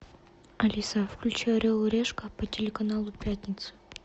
алиса включи орел и решка по телеканалу пятница